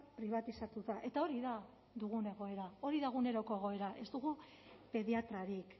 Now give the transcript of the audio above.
pribatizatuta eta hori da dugun egoera hori da eguneroko egoera ez dugu pediatrarik